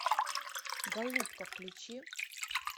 голубка включи